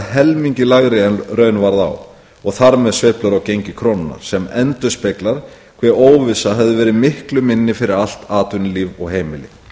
helmingi lægri en raun varð á og þar með sveiflur á gengi krónunnar sem endurspeglar hve óvissa hefði verið miklu minni fyrir allt atvinnulíf og heimili